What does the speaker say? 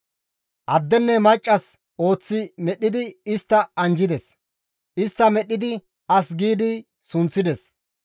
Addenne maccas ooththi medhdhidi istta anjjides. Istta medhdhidi as gi sunththides.